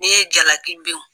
Ne ye jalaki bin